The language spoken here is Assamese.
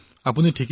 আপোনাৰ কথা সঠিক